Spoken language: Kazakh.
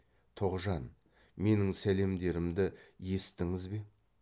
тоғжан менің сәлемдерімді есіттіңіз бе